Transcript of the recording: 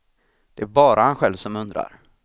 Det är bara han själv som undrar.